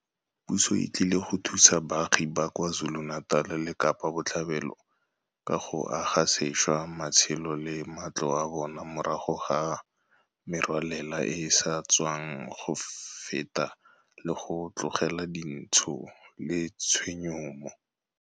Puso e tlile go thusa baagi ba kwa KwaZulu-Natal le Kapa Botlhaba ka go aga sešwa matshelo le matlo a bona morago ga merwalela e e sa tswang go feta le go tlogela dintsho le tshenyo mo